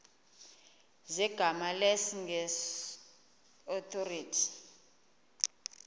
zegama lesngesn authorit